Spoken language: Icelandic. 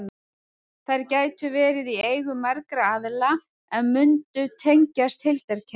Þær gætu verið í eigu margra aðila en mundu tengjast heildarkerfinu.